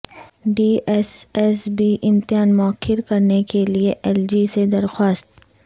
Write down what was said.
D S S B امتحان موخر کرنے کیلئے ایل جی سے درخواست